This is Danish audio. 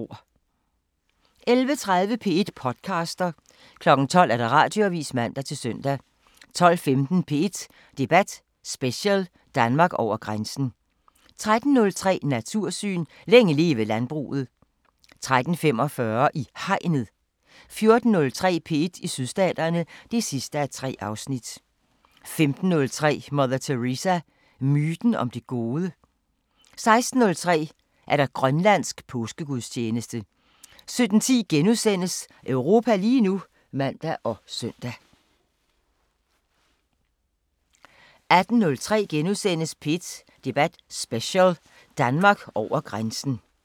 11:30: P1 podcaster 12:00: Radioavisen (man-søn) 12:15: P1 Debat Special: Danmark over grænsen 13:03: Natursyn: Længe leve landbruget 13:45: I Hegnet 14:03: P1 i Sydstaterne (3:3) 15:03: Mother Teresa – myten om det gode? 16:03: Grønlandsk påskegudstjeneste 17:10: Europa lige nu *(man og søn) 18:03: P1 Debat Special: Danmark over grænsen *